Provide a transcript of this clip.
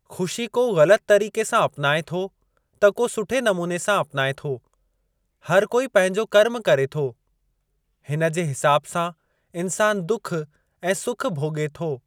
खु़शी को ग़लति तरीक़े सां अपनाए थो त को सुठे नमूने सां अपनाए थो। हर कोई पंहिंजो कर्म करे थो। इन जे हिसाबु सां इंसानु दुख ऐं सुख भोगे॒ थो।